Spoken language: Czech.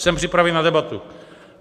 Jsem připraven na debatu.